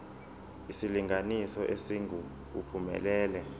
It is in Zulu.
isilinganiso esingu uphumelele